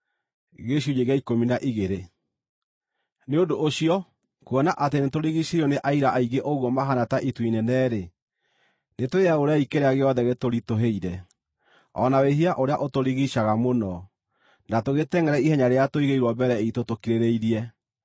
Nĩ ũndũ ũcio, kuona atĩ nĩtũrigiicĩirio nĩ aira aingĩ ũguo mahaana ta itu inene-rĩ, nĩtwĩyaũrei kĩrĩa gĩothe gĩtũritũhĩire, o na wĩhia ũrĩa ũtũrigiicaga mũno, na tũgĩtengʼere ihenya rĩrĩa tũigĩirwo mbere iitũ tũkirĩrĩirie.